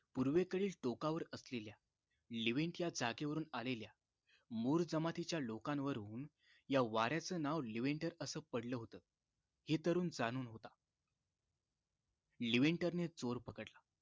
पूर्वेकडील टोकावर असलेल्या लिवींटच्या जागेवरून आलेल्या मुर जमतीच्या लोकांवरुन या वार्‍याच नाव लिवींटर अस पडलं होत हे तरुण जाणून होता लिवींटरणे चोर पकडला